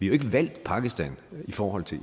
jo ikke valgt pakistan i forhold til